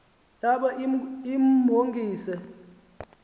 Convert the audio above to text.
yabe imhongi se